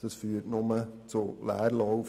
Das führt nur zu Leerlauf.